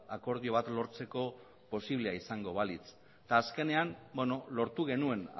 akordio bat lortzeko posiblea izango balitz eta azkenean lortu genuen